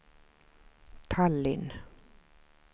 Tallinn